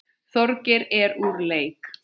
Þorgeir er úr leik.